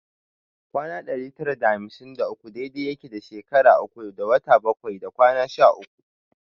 Kwana ɗari tara da hamsin da uku dai dai yake da shekara uku da wata bakwai da kwana sha uku